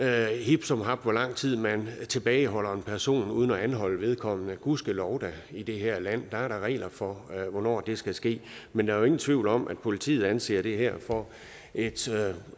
er hip som hap hvor lang tid man tilbageholder en person uden at anholde vedkommende gudskelov da i det her land der er da regler for hvornår det skal ske men der er jo ingen tvivl om at politiet anser det her for et